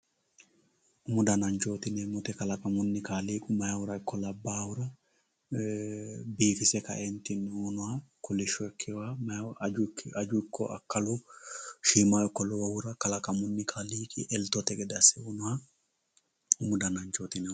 umu dananchooti yinannihu kaaliiqi kalaqamunni meyaahura ikko labbaahura biifise ka"eentinni uuyinoha kolishsho ilkewooha aju ikko akkalu shiimu ikko lowohura kalaqamunni kaaliiqi eltote gede asse uunoha umu dananchooti yinanni.